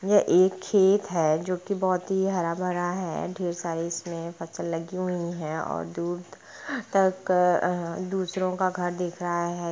यह एक खेत है जो कि बोहत ही हरा-भरा है। ढेर सारी इसमें फसल लगी हुई है और दूर तक अ दुसरो का घर दिख रहा है।